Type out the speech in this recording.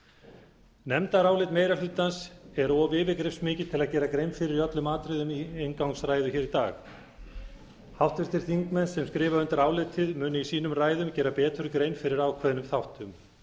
nefndarálit meiri hlutans er of yfirgripsmikið til að gera grein fyrir öllum atriðum í inngangsræðu hér í dag háttvirtir þingmenn sem skrifa undir álitið munu í sínum ræðum gera betur grein fyrir ákveðnum þáttum